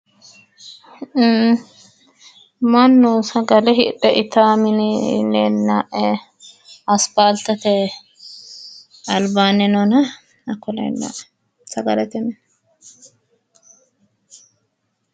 Ee mannu sagale hidhe itawo mini leella'e asipaaltete albaanni noona hakku leella'e sagalete mini